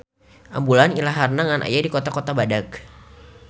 Ambulan ilaharna ngan aya di kota-kota badag.